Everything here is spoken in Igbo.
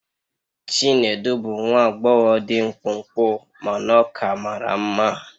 Chinedu bụ nwa agbọghọ dị mkpụmkpụ mana ọ ka mara mma.